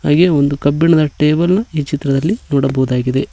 ಹಾಗೆ ಒಂದು ಕಬ್ಬಿಣದ ಟೇಬಲು ಈ ಚಿತ್ರದಲ್ಲಿ ನೋಡಬಹುದಾಗಿದೆ.